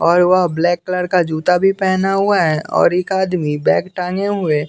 और वह black colour का जूता भी पहना हुआ है और एक आदमी बैग टांगे हुए--